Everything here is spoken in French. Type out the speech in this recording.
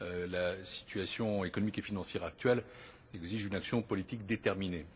La situation économique et financière actuelle exige une action politique déterminée.